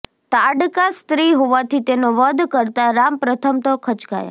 તાડકા સ્ત્રી હોવાથી તેનો વધ કરતા રામ પ્રથમ તો ખચકાયા